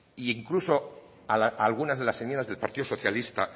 e incluso a algunas de las enmiendas del partido socialista